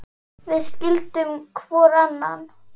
Við skildum hvor annan.